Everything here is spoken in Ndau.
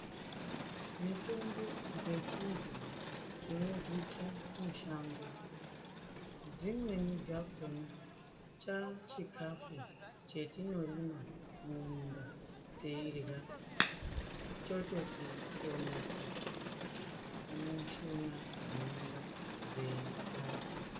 Mitombo dzechiantu tinodzitsa mushango. Dziweni dzakona chachikafu chetinorima mumunda teirya chototi ponesa mushuna dzinenge dzeyipanda.